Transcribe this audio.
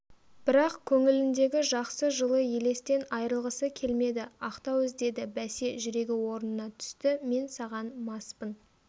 бірақ көңіліндегі жақсы жылы елестен айрылғысы келмеді ақтау іздеді бәсе жүрегі орнына түсті мен саған маспын